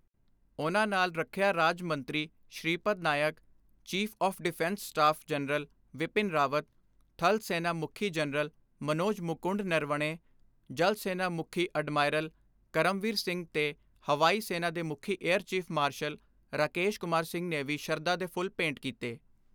ਉਨ੍ਹਾਂਦੇ ਨਾਲ ਰੱਖਿਆ ਰਾਜ ਮੰਤਰੀ Shripad Naik, chief of defence staff general Bipin Rawat, ਥਲ ਸੈਨਾ ਮੁਖੀ ਜਨਰਲ ਮਨੋਜ ਮੁਕੁੰਡ ਨਰਵਣੇ, ਜਲ ਸੈਨਾ ਮੁਖੀ ਅਡਮਾਇਰਲ ਕਰਮਵੀਰ ਸਿੰਘ ਤੇ ਹਵਾਈ ਸੈਨਾ ਦੇ ਮੁਖੀ air chief marshal Rakesh Kumar Singh ਨੇ ਵੀ ਸਰਧਾ ਦੇ ਫੁੱਲ ਭੇਂਟ ਕੀਤੇ।